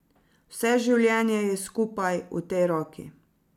Vse življenje je skupaj, v tej roki.